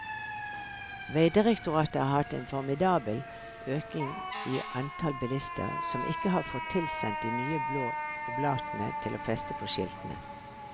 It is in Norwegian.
Vegdirektoratet har hatt en formidabel økning i antall bilister som ikke har fått tilsendt de nye blå oblatene til å feste på skiltene.